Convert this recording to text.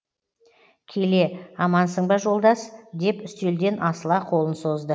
келе амансың ба жолдас деп үстелден асыла қолын созды